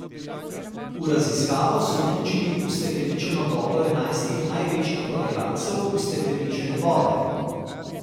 V raziskavo so vključili ustekleničeno vodo enajstih največjih prodajalcev ustekleničene vode.